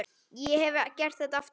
Ég hefði gert þetta aftur.